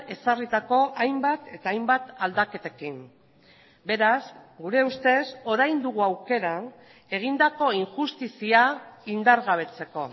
ezarritako hainbat eta hainbat aldaketekin beraz gure ustez orain dugu aukera egindako injustizia indargabetzeko